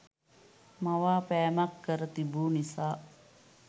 මවාපෑමක් කර තිබූ නිසා